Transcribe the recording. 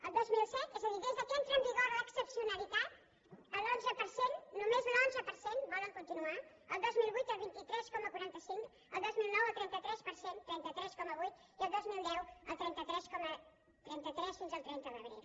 el dos mil set és a dir des que entra en vigor l’excepcionalitat l’onze per cent només l’onze per cent volen continuar el dos mil vuit el vint tres coma quaranta cinc el dos mil nou el trenta tres per cent trenta tres coma nou i el dos mil deu el trenta tres coma trenta tres fins al trenta d’abril